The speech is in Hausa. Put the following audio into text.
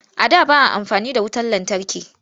A da ba a amfani da wutar lantarki